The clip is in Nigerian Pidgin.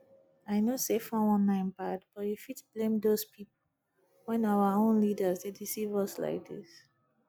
i know say 419 bad but you fit blame doz people when our own leaders dey deceive us like dis